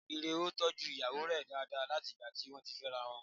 Ire ò tọ́jú ìyàwó rẹ̀ dáadáa láti ìgbà tí wọ́n ti fẹ́ra wọn